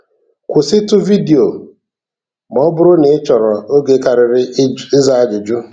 kwụsịtụ vidiyo ma ọ bụrụ na ị chọrọ oge karịrị ịza ajụjụ.